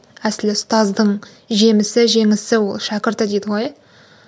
әсілі ұстаздың жемісі жеңісі ол шәкірті дейді ғой